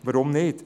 Warum nicht?